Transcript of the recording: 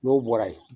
N'o bɔra ye